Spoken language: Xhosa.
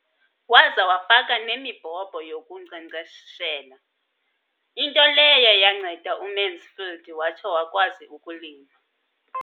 Waza wafaka nemibhobho yokunkcenkceshela, into leyo yanceda uMansfield watsho wakwazi ukulima.